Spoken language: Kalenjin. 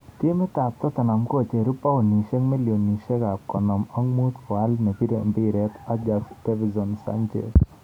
Timit ab Tottenham kocheru paunishek milionishek konom ak mut koal neribei mpiret Ajax Dvinson Sanchez.